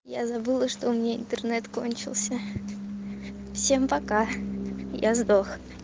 я забыла что у меня интернет кончился всем пока я сдох